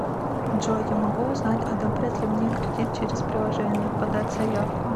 джой я могу узнать одобрят ли мне кредит через приложение подать заявку